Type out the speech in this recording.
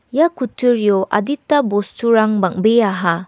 ia kutturio adita bosturang bang·beaha.